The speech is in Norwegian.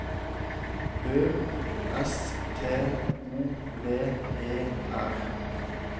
Ø S T O V E R